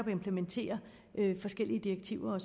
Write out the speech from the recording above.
vi implementerer forskellige direktiver